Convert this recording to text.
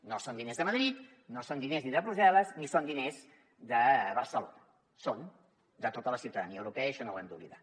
no són diners de madrid no són diners ni de brussel·les ni són diners de barcelona són de tota la ciutadania europea i això no ho hem d’oblidar